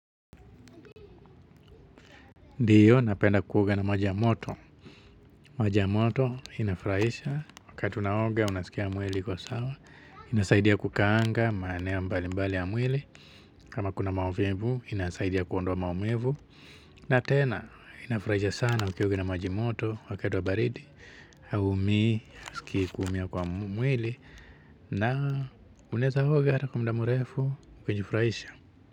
Ndiyo, napenda kuoga na maji ya moto. Maji ya moto, inafurahisha. Wakati unaoga, unasikia mwili ikiwa sawa. Inasaidia kukaanga, maeneo mbali mbali ya mwili. Kama kuna maumivu, inasaidia kuondowa maumivu. Na tena, inafurahisha sana ukioga na maji moto, wakati wa baridi. Haumii, huskii kuumia kwa mwili. Na unaeza oga kwa muda mrefu, kujifurahisha.